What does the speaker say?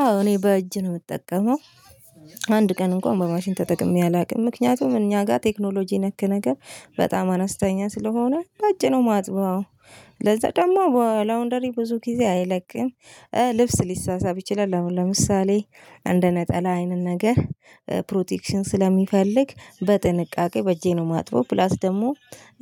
አዎ እኔ በእጅ ነው እምጠቀመው። አንድ ቀን እንኳን በማሽን ተጠቅሜ አላውቅም ምክኛቱም እኛ ጋር ቴክኖሎጂ ነክ ነገር በጣም አነስተኛ ስለሆነ በእጅ ነው ማጥበው። ለዛ ደግሞ በላውንደሪ ብዙ ጊዜ አይለቅም ልብስ ሊሳሳብ ይችላል። ለምሳሌ እንደ ነጠላ አይነት ነገር ፕሮቴክሽን ስለሚፈልግ በጥንቃቄ በእጄ ነው ማጥበው። ፕላስ ደግሞ